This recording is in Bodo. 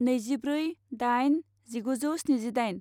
नैजिब्रै दाइन जिगुजौ स्निजिदाइन